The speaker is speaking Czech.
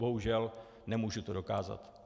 Bohužel nemůžu to dokázat.